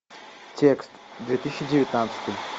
текст две тысячи девятнадцатый